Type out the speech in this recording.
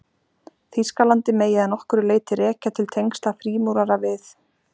Þýskalandi megi að nokkru leyti rekja til tengsla frímúrara við